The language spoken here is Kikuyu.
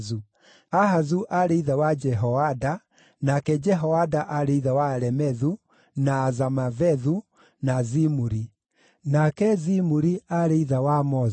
Ahazu aarĩ ithe wa Jehoada, nake Jehoada aarĩ ithe wa Alemethu, na Azamavethu, na Zimuri; nake Zimuri aarĩ ithe wa Moza.